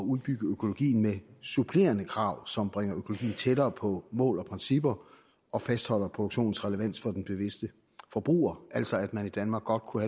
udbygge økologien med supplerende krav som bringer økologien tættere på mål og principper og fastholder produktionens relevans for den bevidste forbruger altså at man i danmark godt kunne